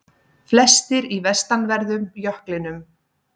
Flestir í vestanverðum jöklinum